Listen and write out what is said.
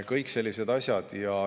Kõik sellised asjad.